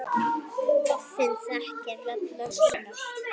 Hann þekkir rödd mömmu sinnar.